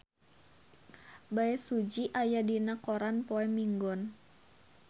Bae Su Ji aya dina koran poe Minggon